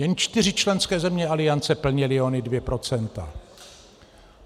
Jen čtyři členské země aliance plnily ona dvě procenta.